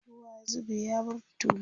ruwa ya zube ya bar tulu